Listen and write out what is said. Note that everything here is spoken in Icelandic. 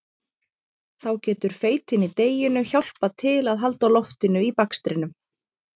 Þá getur feitin í deiginu hjálpað til að halda loftinu í bakstrinum.